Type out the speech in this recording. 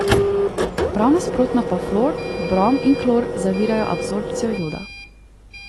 Prav nasprotno pa fluor, brom in klor zavirajo absorbcijo joda.